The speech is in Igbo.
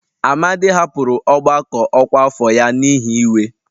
Amadi hapụrụ ọgbakọ ọkwa afọ ya n'ihi iwe